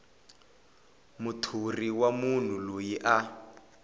muthori wa munhu loyi a